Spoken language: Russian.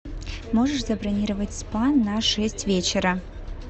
можешь забронировать спа на шесть вечера